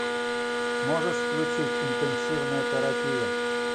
можешь включить интенсивная терапия